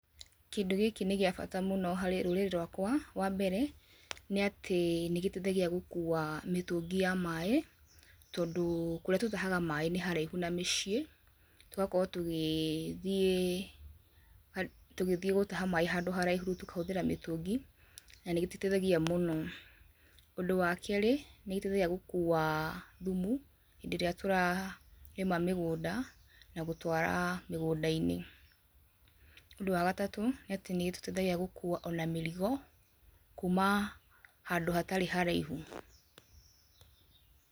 Kĩndũ gĩkĩ nĩ gĩa bata mũno harĩ rũrĩrĩ rwakwa, wa mbere nĩ atĩ, nĩ gĩteithagia gũkuua mĩtũngĩ ya maĩ, tondũ kũrĩa tũtahaga maĩ nĩ haraihu na mĩciĩ, tũgakorwo tũgĩthiĩ ha tũgĩthiĩ gũtaha maĩ handũ haraihu tũkahũthĩra mĩtũngi, na nĩ gĩtũteithagia mũno. Ũndũ wa kerĩ, nĩ gĩtũteithagia gũkuua thumu hĩndĩ ĩrĩa tũrarĩma mĩgũnda, na gũtwara mĩgũnda-inĩ, ũndũ wa gatatũ, nĩ atĩ nĩ gĩtũteithagia gũkuua ona mĩrigo, kuma handũ hatarĩ haraihu.